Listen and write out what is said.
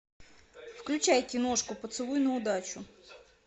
включай киношку поцелуй на удачу